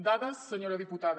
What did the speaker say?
dades senyora diputada